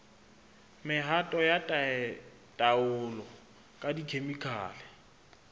mehato ya taolo ka dikhemikhale